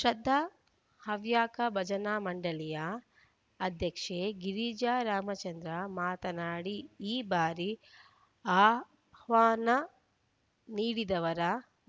ಶ್ರದ್ಧಾ ಹವ್ಯಕ ಭಜನಾ ಮಂಡಳಿಯ ಅಧ್ಯಕ್ಷೆ ಗಿರಿಜಾ ರಾಮಚಂದ್ರ ಮಾತನಾಡಿ ಈ ಬಾರಿ ಆಹ್ವಾನ ನೀಡಿದವರ